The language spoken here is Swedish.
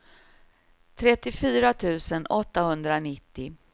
trettiofyra tusen åttahundranittio